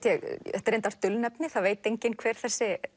er reyndar dulnefni það veit engin hver þessi